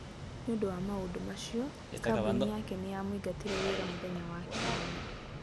Nĩ ũndũ wa maũndũ macio, kambuni yake nĩ yamũingatire wĩra mũthenya wa Kiumia.